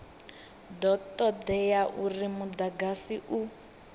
do todea uri mudagasi u